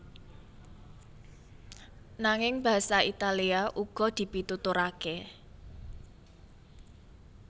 Nanging basa Italia uga dipituturaké